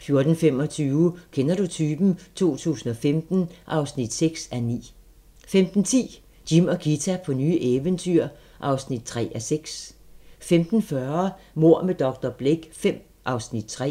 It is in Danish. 14:25: Kender du typen? 2015 (6:9) 15:10: Jim og Ghita på nye eventyr (3:6) 15:40: Mord med dr. Blake V (3:8)